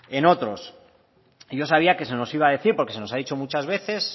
en otros y yo sabía que se nos iba a decir porque se nos ha dicho muchas veces